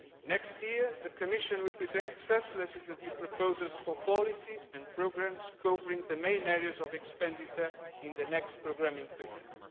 Next year, the Commission will present legislative proposals for policies and programmes covering the main areas of expenditure in the next programming produced.